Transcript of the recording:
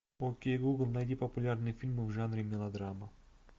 окей гугл найди популярные фильмы в жанре мелодрама